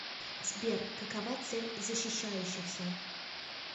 сбер какова цель защищающихся